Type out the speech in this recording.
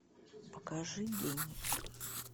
покажи гений